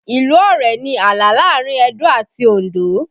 Ìlú Ọ̀rẹ̀ ni ààlà láàrin Edo àti Òndó